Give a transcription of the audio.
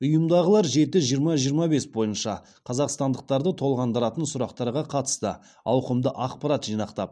ұйымдағылар жеті жиырма жиырма бес бойынша қазақстандықтарды толғандыратын сұрақтарға қатысты ауқымды ақпарат жинақтап